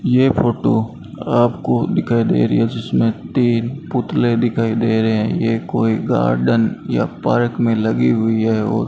ये फोटो आपको दिखाई दे रही है जिसमें तीन पुतले दिखाई दे रहे हैं यह कोई गार्डन या पार्क में लगी हुई है और --